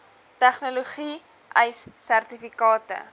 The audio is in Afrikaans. tegnologie ace sertifikate